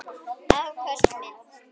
Afköst með